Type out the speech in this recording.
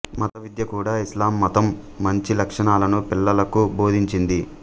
మత విద్య కూడా ఇస్లాం మతం మంచి లక్షణాలను పిల్లలకు బోధించింది